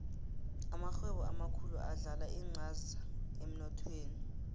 amarhwebo amakhulu adlala incaza emnothweni